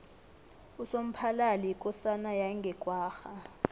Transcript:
usomphalali yikosana yange kwagga